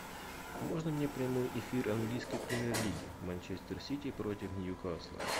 можно мне прямой эфир английской премьер лиги манчестер сити против ньюкасла